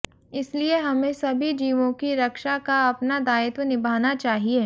इसीलिए हमें सभी जीवों की रक्षा का अपना दायित्व निभाना चाहिए